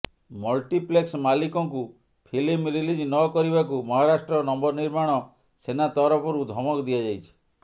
multiplex ମାଲିକଙ୍କୁ film release ନ କରିବାକୁ ମହାରାଷ୍ଟ୍ର ନବ ନିର୍ମାଣ ସେନା ତରଫରୁ ଧମକ ଦିଆଯାଇଛି